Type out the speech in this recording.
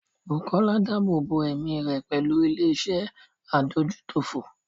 Bukola dáàbò bo ẹ̀mí rẹ̀ pẹ̀lú ilé iṣẹ́ adójútòfò.